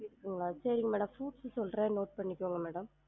இருக்குங்ளா? சரிங்க madam fruits உ சொல்றன் note பன்னிக்கோங்க madam